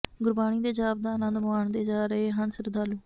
ਗੁਰਬਾਣੀ ਦੇ ਜਾਪ ਦਾ ਆਨੰਦ ਮਾਣਦੇ ਜਾ ਰਹੇ ਹਨ ਸ਼ਰਧਾਲੂ